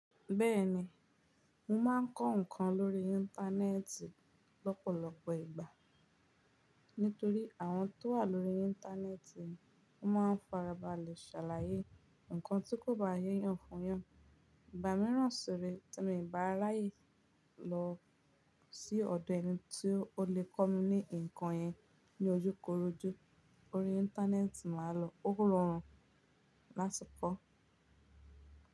Bẹ́ẹ̀ni, mo máa ń kọ́ nǹkan lórí íńtánẹ́ẹ́tì lọ́pọ̀lọpọ̀ ìgbà. Nítorí àwọn tó wà lórí íńtánẹ́ẹ́tì, wọ́n máa ń farabalẹ̀ ṣàlàyé nǹkan tí kò bá yé eyan fún yẹn. Ìgbà mìíràn sí ìgbà tí mo bá ráàyè lọ sí ọ̀dọ̀ ẹni tí ó lè kọ́ mi ní nǹkan yẹn ní ojúkorojú, orí íńtánẹ́ẹ́tì màá lọ. Ó wúrù ọ̀rùn láti kọ́.